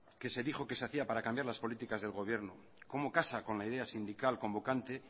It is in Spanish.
que se dijo que se hacía para cambiar las políticas del gobierno cómo casa con la idea sindical convocante